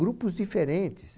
Grupos diferentes.